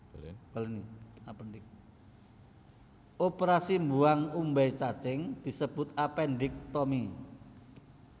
Oprasi mbuwang umbai cacing disebut appendektomi